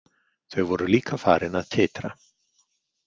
Þau voru líka farin að titra.